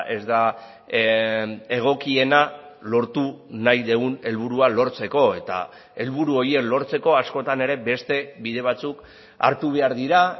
ez da egokiena lortu nahi dugun helburua lortzeko eta helburu horiek lortzeko askotan ere beste bide batzuk hartu behar dira